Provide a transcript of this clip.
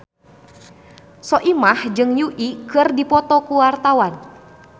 Soimah jeung Yui keur dipoto ku wartawan